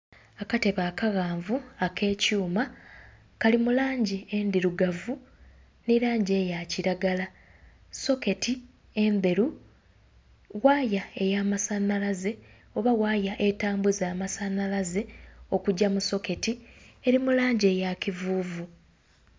Akatebe akaghanvu akekyuma kali mu langi endhirugavu nhi langi eya kilagala, soketi endheru, waya eya masanhalaze oba waya etambuza amasanhalaze okugya mu soketi eri mu langi eya kivuvu.